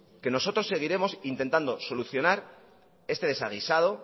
nosotros seguiremos intentando solucionar este desaguisado